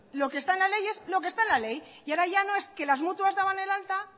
lo que está en la ley es lo que está en la ley y ahora ya no es que las mutuas daban el alta